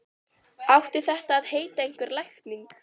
Átti þetta að heita einhver lækning?